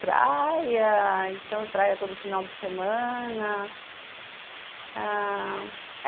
Praia, então, praia todo final de semana ãh